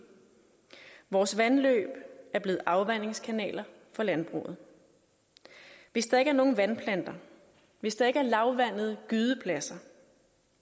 vores vandløb er blevet afvandingskanaler for landbruget hvis der ikke er nogen vandplanter hvis der ikke er lavvandede gydepladser